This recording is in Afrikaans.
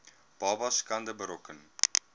babas skade berokken